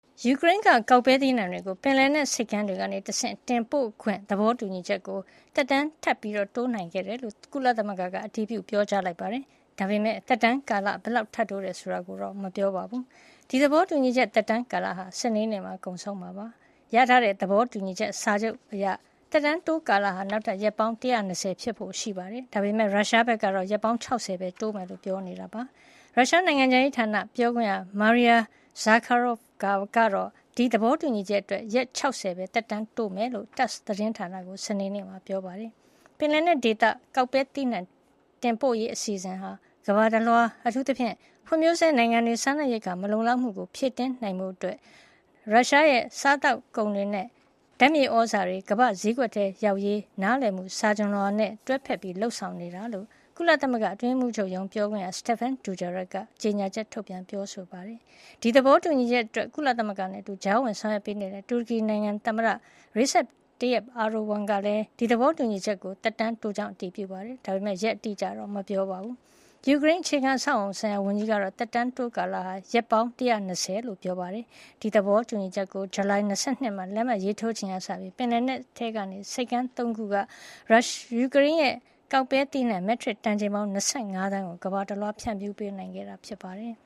ယူကရိန်းက ကောက်ပဲသီးနှံတွေကို ပင်လယ်နက်ဆိပ်ကမ်းတွေကနေတဆင့် တင်ပို့ခွင့် သဘောတူညီချက်ကို သက်တမ်းထပ်တိုးနိုင်ခဲ့တယ်လို့ ကုလသမဂ္ဂကအတည်ပြုပါတယ်။ ဒါပေမဲ့ သက်တမ်းကာလ ဘယ်လောက်ထပ်တိုးတယ်ဆိုတာတော့ မပြောပါဘူး။ ဒီသဘောတူညီချက်သက်တမ်းကာလဟာ စနေနေ့မှာ ကုန်ဆုံးတော့မှာ ဖြစ်ပါတယ်။ ရထားတဲ့သဘောတူညီချက်စာချုပ်အရ သက်တမ်းတိုးကာလဟာ နောက်ထပ်ရက်ပေါင်း ၁၂၀ ဖြစ်ဖို့ရှိပါတယ်။ ဒါပေမယ့် ရုရှားဘက်က ရက်ပေါင်း ၆၀ ပဲတိုးမှာဖြစ်ကြောင်း ပြောဆိုနေတာပါ။ ရုရှားနိုင်ငံခြားရေးဌာနပြောခွင့်ရ Maria Zakharova ကတော့ ဒီသဘောတူညီချက်အတွက် ရက် ၆၀ ပဲ သက်တမ်းတိုးမှာဖြစ်ကြောင်း TASS သတင်းဌာနကို စနေနေ့မှာ ပြောကြားခဲ့ပါတယ်။ ပင်လယ်နက်ဒေသ ကောက်ပဲသီးနှံတင်ပို့ရေး အစီအစဉ်ဟာ ကမ္ဘာတလွှား အထူးသဖြင့် ဖွံ့ဖြိုးဆဲနိုင်ငံတွေ စားနပ်ရိက္ခာမလုံလောက်မှုကို ဖြည့်တင်းနိုင်ဖို့၊ ရုရှားရဲ့စားသောက်ကုန်တွေနဲ့ ဓါတ်မြေသြဇာတွေ ကမ္ဘာ့ဈေးကွက်ထဲရောက်ရေး နားလည်မှုစာချွန်လွှာ MoU နဲ့ တွဲဘက် လုပ်ဆောင်နေတာဖြစ်ကြောင်း ကုလအတွင်းရေးမှုးချုပ်ရုံး ပြောခွင့်ရ Stephane Dujarric က ကြေညာချက် ထုတ်ပြန်ပြောဆိုပါတယ်။ ဒီသဘောတူညီချက်အတွက် ကုလသမဂ္ဂနဲ့အတူ ကြားဝင်ဆောင်ရွက်ပေးနေတဲ့ တူရကီနိုင်ငံက သမ္မတ Recep Tayyip Erdogan ကလည်း ဒီသဘောတူညီချက်ကို သက်တမ်းတိုးခဲ့ကြောင်း အတည်ပြုပါတယ်။ ဒါပေမယ့် သက်တမ်းတိုးတဲ့ ရက် အတိအကျကိုတော့ မပြောပါဘူး။ ယူကရိန်း အခြေခံအဆောက်အအုံဆိုင်ရာဝန်ကြီးကတော့ သက်တမ်းတိုးကာလဟာ ရက်ပေါင်း ၁၂၀ ဖြစ်ကြောင်း ပြောပါတယ်။ ဒီသဘောတူညီချက်ကို ဇူလိုင်လ ၂၂ ရက်မှာ လက်မှတ်ရေးထိုးခဲ့ချိန်ကစပြီး ပင်လယ်နက် ထဲက ဆိပ်ကမ်း ၃ ခုကနေ ယူကရိန်းရဲ့ ကောက်ပဲသီးနှံ မက်ထရစ်တန်ချိန်ပေါင်း ၂၅ သန်းကို ကမ္ဘာတလွှားကို တင်ပို့နိုင်ခဲ့တာဖြစ်ပါတယ်